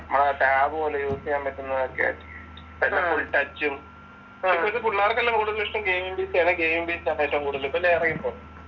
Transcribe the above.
നമ്മുടെ ടാബ് പോലെ യൂസ് ചെയ്യാൻ പറ്റുന്നതൊക്കെ ടച്ചും. എപ്പോൾ ഇത് പുള്ളാർക്കെല്ലാം കൂടുതൽ ഇഷ്ടം ഗയിമിം ഗ് ആണ്. ഗെയിമിംഗ് പിസി ആണ് ഏറ്റവും കൂടുതല് ഇപ്പോൾ